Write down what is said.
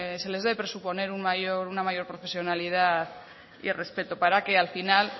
se les debe presuponer una mayor profesionalidad y respeto para que al final